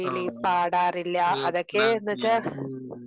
ആഹ്.